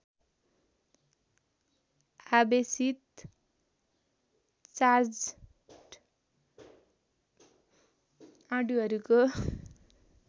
आवेशित चार्ज्ड अणुहरूको